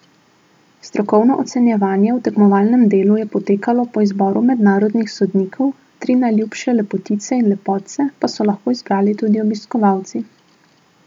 Strokovno ocenjevanje v tekmovalnem delu je potekalo po izboru mednarodnih sodnikov, tri najljubše lepotice in lepotce pa so lahko izbrali tudi obiskovalci.